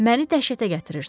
Məni dəhşətə gətirirsən.